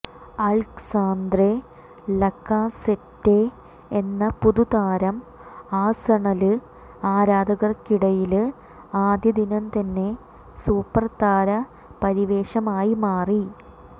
Alexandre Lacazette എന്ന പുതുതാരം Arsenal ആരാധകര്ക്കിടയില് ആദ്യ ദിനം തന്നെ സൂപ്പര് താര പരിവേഷമായി മാറി